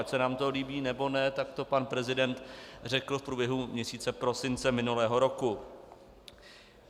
Ať se nám to líbí, nebo ne, tak to pan prezident řekl v průběhu měsíce prosince minulého roku.